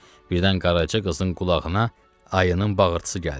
Birdən Qaraca qızın qulağına ayının bağırtısı gəldi.